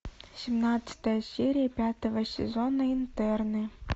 семнадцатая серия пятого сезона интерны